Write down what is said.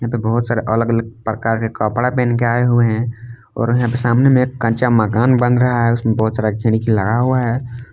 बहुत सारे अलग अलग प्रकार के कपड़ा पहन के आए हुए हैं और यहां के सामने में कच्चा मकान बन रहा है उसमें बहुत सारे खिड़की लगा हुआ है।